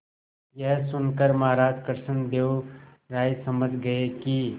यह सुनकर महाराज कृष्णदेव राय समझ गए कि